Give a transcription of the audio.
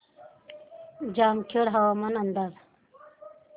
जामखेड हवामान अंदाज